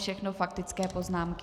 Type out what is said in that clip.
Všechno faktické poznámky.